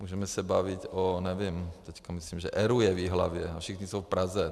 můžeme se bavit o, nevím, teď myslím, že ERÚ je v Jihlavě a všichni jsou v Praze.